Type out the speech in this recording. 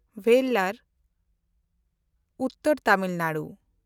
ᱵᱮᱞᱞᱟᱨ (ᱩᱛᱛᱚᱨ ᱛᱟᱢᱤᱞ ᱱᱟᱰᱩ)